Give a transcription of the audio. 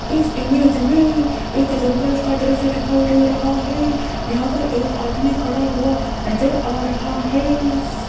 इस इमेज में एक जंगल का दृश्य दिखाई दे रहा है यहां पर एक आदमी खड़ा हुआ नजर आ रहा है।